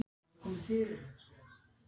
Jón Júlíus Karlsson: Já, er mikið að seljast?